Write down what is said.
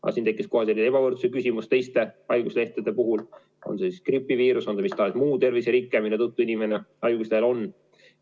Aga kohe tekkis ebavõrdsuse küsimus teiste haiguslehtede puhul, kui tegu on gripiviiruse või mis tahes muu terviserikkega, mille tõttu inimene haiguslehel on.